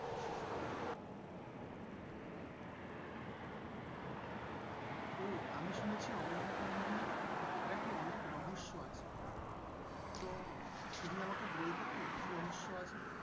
ওহ আমি শুনেছি অমরনাথ মন্দির নাকি অনেক রহস্য আছে। তো তুমি আমাকে বলতে পারবে কি রহস্য আছে?